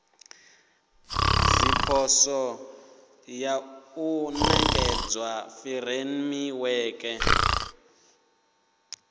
zwipotso ya u nekedza furemiweke